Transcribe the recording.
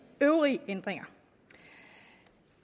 øvrige ændringer